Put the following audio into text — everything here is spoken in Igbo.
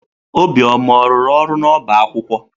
Obioma ọ rụrụ ọrụ n'ọba akwụkwọ?